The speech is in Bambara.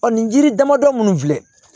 Ɔ nin yiri damadɔ minnu filɛ